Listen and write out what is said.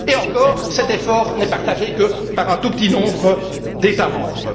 Et encore, cet effort n'est partagé que par un tout petit nombre d'États membres...